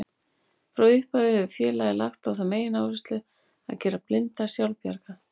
Frá upphafi hefur félagið lagt á það megináherslu að gera blinda sjálfbjarga.